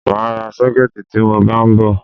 Mà á ra sọ́kẹ̀tì tí mọ bá ń bọ̀.